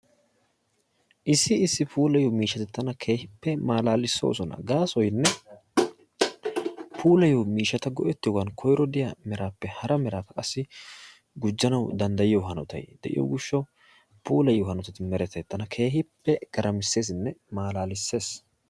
Issi issi puulayiyoo miishshati tana keehippe malaalissosona. gaasoynne puulayiyoo miishshata go"rttiyoogan koyro de'iyaa meraappe hara meraako qassi gujjanawu danddayiyoo haanotay de'iyoo giishshawu puulayiyoo hanotay tana keehippe garamissesinne malaalissees.